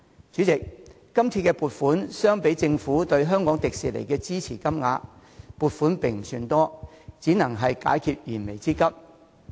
主席，相比於政府注資迪士尼的金額，這筆撥款並不算多，只能解決燃眉之急。